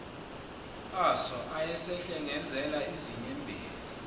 aso ayesehlengezela izinyembezi